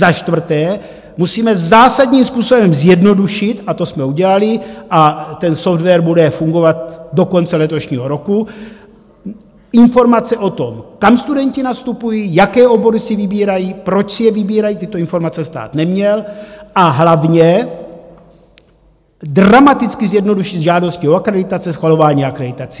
Za čtvrté, musíme zásadním způsobem zjednodušit - a to jsme udělali a ten software bude fungovat do konce letošního roku - informace o tom, kam studenti nastupují, jaké obory si vybírají, proč si je vybírají, tyto informace stát neměl, a hlavně dramaticky zjednodušit žádosti o akreditace, schvalování akreditací.